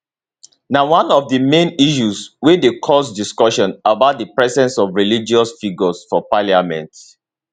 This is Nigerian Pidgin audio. na one of di main issues wey dey cause discussion about di presence of religious figures for parliament